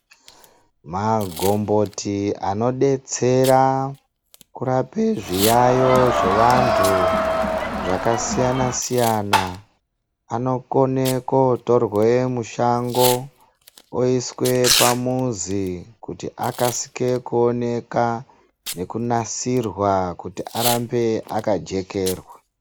Magomboti anodetsera kurape zviyayo zvevantu zvakasiyana siyana anokone kotorwe mushango oiswe pamuzi kuti akasisike kuoneka nekunasirwa kuti arambe akajekerwa.